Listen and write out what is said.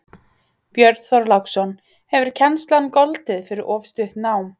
Björn Þorláksson: Hefur kennslan goldið fyrir of stutt nám?